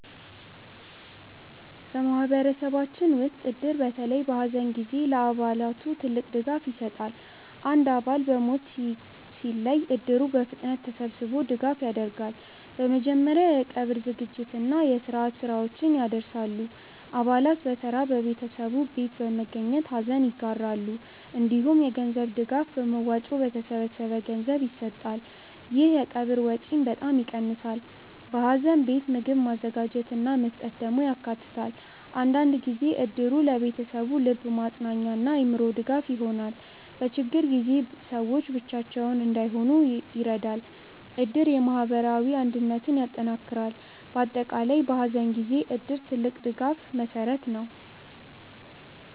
በማህበረሰባችን ውስጥ እድር በተለይ በሐዘን ጊዜ ለአባላቱ ትልቅ ድጋፍ ይሰጣል። አንድ አባል በሞት ሲያጋጥም እድሩ በፍጥነት ተሰብስቦ ድጋፍ ያደርጋል። በመጀመሪያ የቀብር ዝግጅት እና የስርዓት ስራዎችን ያደርሳል። አባላት በተራ በቤተሰቡ ቤት በመገኘት ሐዘን ይጋራሉ። እንዲሁም የገንዘብ ድጋፍ በመዋጮ በተሰበሰበ ገንዘብ ይሰጣል። ይህ የቀብር ወጪን በጣም ይቀንሳል። በሐዘን ቤት ምግብ ማዘጋጀት እና መስጠት ደግሞ ያካተታል። አንዳንድ ጊዜ እድሩ ለቤተሰቡ ልብ ማጽናኛ እና አእምሮ ድጋፍ ይሆናል። በችግር ጊዜ ሰዎች ብቻቸውን እንዳይሆኑ ይረዳል። እድር የማህበራዊ አንድነትን ያጠናክራል። በአጠቃላይ በሐዘን ጊዜ እድር ትልቅ የድጋፍ መሠረት ነው።